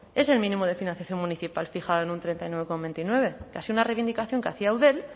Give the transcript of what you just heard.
es el mínimo de financiación municipal fijado en un treinta y nueve coma veintinueve que ha sido una reivindicación que hacía eudel